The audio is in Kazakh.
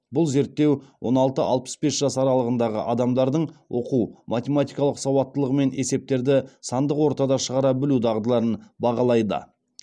бұл зерттеу он алты алпыс бес жас аралығындағы адамдардың оқу математикалық сауаттылығы мен есептерді сандық ортада шығара білу дағдыларын бағалайды